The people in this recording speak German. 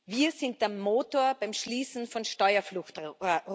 Wir sind der Motor beim Schließen von Steuerfluchtrouten.